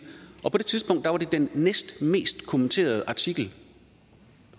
og på det tidspunkt var det den næstmest kommenterede artikel